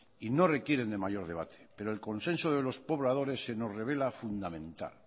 y no requieren de mayor debate pero el consenso de los pobladores se nos revela fundamental